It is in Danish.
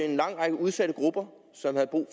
en lang række udsatte grupper som havde brug